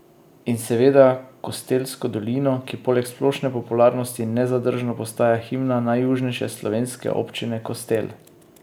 In seveda Kostelsko dolino, ki poleg splošne popularnosti nezadržno postaja himna najjužnejše slovenske občine Kostel.